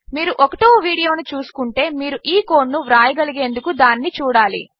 మీరు 1వవీడియోనుచూడకుంటే మీరుఈకోడ్నువ్రాయగలిగేందుకుదానినిచూడాలి